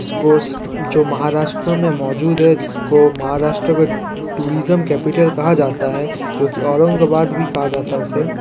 जो महाराष्ट्र में मौजूद है जिसको महाराष्ट्र का टूरिज्म कैपिटल कहा जाता है जो कि औरंगाबाद भी कहा जाता है उसे।